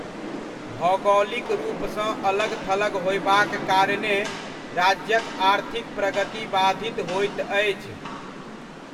भौगोलिक रूपसँ अलग थलग होयबाक कारणेँ राज्यक आर्थिक प्रगति बाधित होइत अछि।